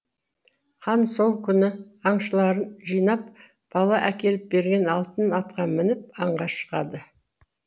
хан сол күні аңшыларын жинап бала әкеліп берген алтын атқа мініп аңға шығады